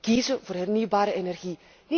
kiezen voor hernieuwbare energie.